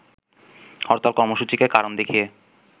হরতাল কর্মসূচিকে কারণ দেখিয়ে